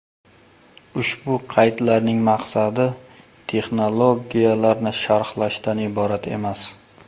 Ushbu qaydlarning maqsadi texnologiyalarni sharhlashdan iborat emas.